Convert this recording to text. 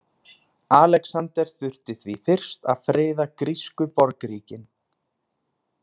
Alexander þurfti því fyrst að friða grísku borgríkin.